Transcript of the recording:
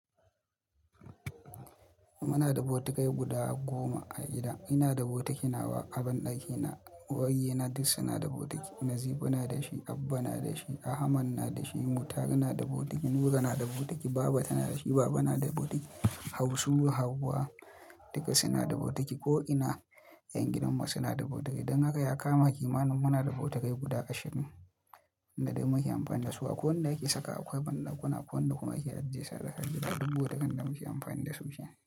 Muna da botikai guda goma a gida. Ina da botiki na ba a banɗaki na. Ko yayyena duk suna da botiki. Nazifu na da shi, Abba na da shi, Ahamadu na da shi, Murtala na da botiki, Nura na da botiki, Baba ta na da shi, Baba na da botiki. Hausu, Hauwa duk suna da botiki ko ina 'yan gidanmu suna da botiki. Don haka ya kama ki ma muna da botikai guda ashirin da muke amfani da su. Akwai wanda yake saka a banɗakuna, akwai wanda kuma yake ajiye sarari da duk botikin da muke amfani da su shine.